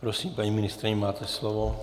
Prosím, paní ministryně, máte slovo.